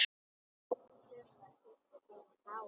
Þura systir mín er gáfuð.